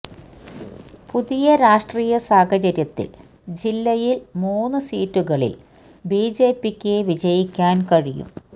പുതിയ രാഷ്ട്രീയ സാഹചര്യത്തില് ജില്ലയില് മൂന്ന് സീറ്റുകളില് ബിജെപിക്ക് വിജയിക്കാന് കഴിയും